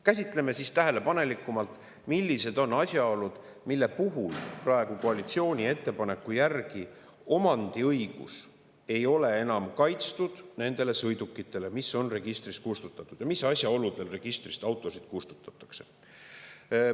Käsitleme siis tähelepanelikumalt, millised on asjaolud, mille puhul praegu koalitsiooni ettepaneku järgi omandiõigus ei ole enam kaitstud nende sõidukite puhul, mis on registrist kustutatud, ja mis asjaoludel registrist autosid kustutatakse.